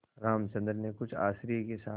रामचंद्र ने कुछ आश्चर्य के साथ